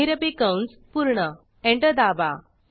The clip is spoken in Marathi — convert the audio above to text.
महिरपी कंस पूर्ण एंटर दाबा